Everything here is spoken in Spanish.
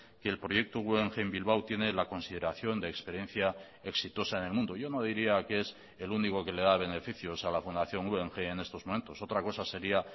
que el proyecto guggenheim bilbao tiene la consideración de experiencia exitosa en el mundo yo no diría que es el único que le da beneficios a la fundación guggenheim en estos momentos otra cosa sería